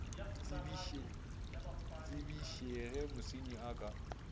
tsebiše ge mosenyi a ka